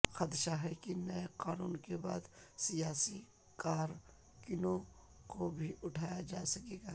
خدشہ ہے کہ نئے قانون کے بعد سیاسی کارکنوں کو بھی اٹھایا جا سکے گا